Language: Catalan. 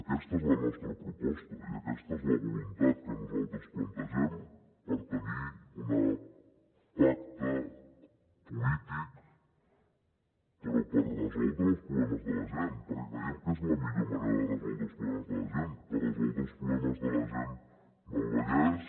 aquesta és la nostra proposta i aquesta és la voluntat que nosaltres plantegem per tenir un pacte polític però per resoldre els problemes de la gent perquè creiem que és la millor manera de resoldre els problemes de la gent per resoldre els problemes de la gent del vallès